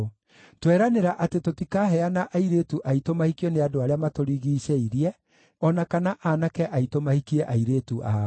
“Tweranĩra atĩ tũtikaheana airĩtu aitũ mahikio nĩ andũ arĩa matũrigiicĩirie o na kana aanake aitũ mahikie airĩtu ao.